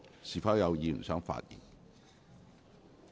是否有議員想發言？